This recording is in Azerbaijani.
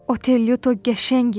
Otellito qəşəng idi.